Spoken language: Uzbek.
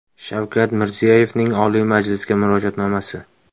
Shavkat Mirziyoyevning Oliy Majlisga Murojaatnomasi.